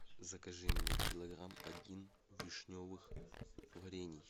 закажи мне килограмм один вишневых варений